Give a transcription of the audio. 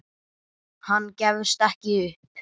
Hann gefst ekki upp.